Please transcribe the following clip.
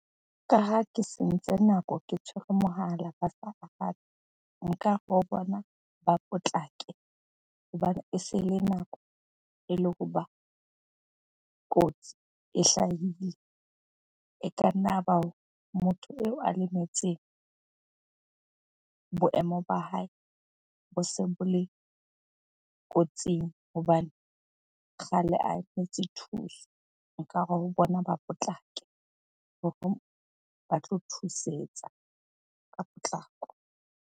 Ka ha ke sentse nako ke tshwere mohala ba sa arabe. Nkare ho bona ba potlake hobane e se le nako e le hoba kotsi e hlahile. E ka nna ba motho eo a lemetseng boemo ba hae bo se bo le kotsing hobane kgale a emetse thuso. Nkare ho bona ba potlake hore ba tlo thusetsa ka potlako.